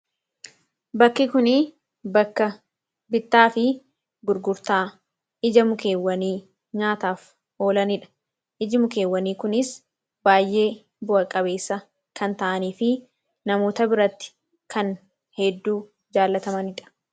Kan asirratti argaa jirru bakka bittaafi gurgurtaadha. Iddon kun faayidaa madaalamuu hin dandeenye fi bakka bu’iinsa hin qabne qaba. Jireenya guyyaa guyyaa keessatti ta’ee, karoora yeroo dheeraa milkeessuu keessatti gahee olaanaa taphata. Faayidaan isaa kallattii tokko qofaan osoo hin taane, karaalee garaa garaatiin ibsamuu danda'a.